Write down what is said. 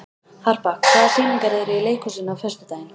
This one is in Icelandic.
Harpa, hvaða sýningar eru í leikhúsinu á föstudaginn?